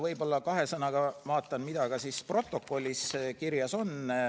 Võib-olla kahe sõnaga räägin, mis protokollis kirjas on.